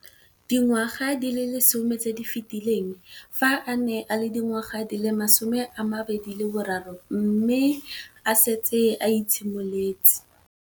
Dingwaga di le 10 tse di fetileng, fa a ne a le dingwaga di le 23 mme a setse a itshimoletse